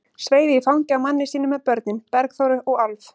Sveif í fangið á manni sínum með börnin, Bergþóru og Álf.